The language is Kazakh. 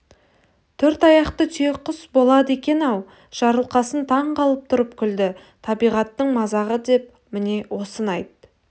төрт аяқты түйеқұс болады екен-ау жарылқасын таңқалып тұрып күлді табиғаттың мазағы деп міне осыны айт